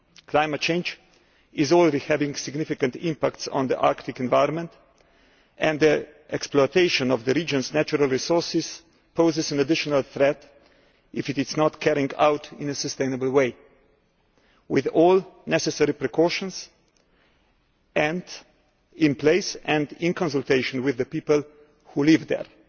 Climate change is already having a significant impact on the Arctic environment, and the exploitation of the region's natural resources poses an additional threat if it is not carried out in a sustainable way, with all necessary precautions in place and in consultation with the people who live there.